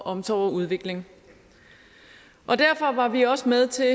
omsorg og udvikling derfor var vi også med til